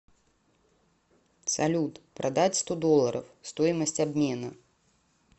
салют продать сто долларов стоимость обмена